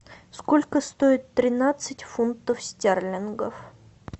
сколько стоит тринадцать фунтов стерлингов